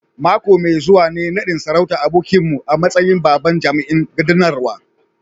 Mako mai zuwa ne nadin sarautar abokinmu a matsayin babban jami'in gudanarwa